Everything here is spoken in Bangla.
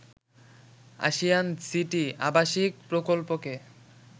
আশিয়ান সিটি আবাসিক প্রকল্পকে